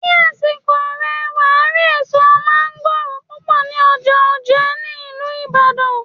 Ní àsìkò rè, wàá rí èso mángóròò púpọ̀ ní ọjà Òjé ní ìlú Ìbàdàn.